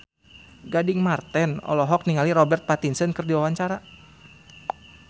Gading Marten olohok ningali Robert Pattinson keur diwawancara